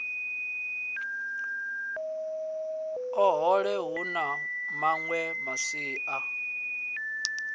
ohe hu na mawe masia